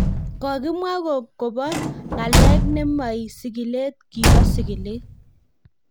Ko kimwa kobo kobo ng�alek nemoi sigilet kibo sigilet.